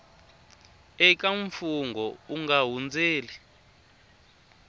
eka mfungho u nga hundzeli